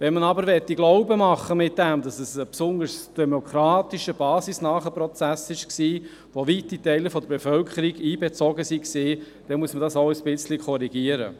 Wenn man aber glauben machen will, es sei ein besonders demokratischer, basisnaher Prozess gewesen, in den weite Teile der Bevölkerung einbezogen waren, dann muss man dies ein wenig korrigieren.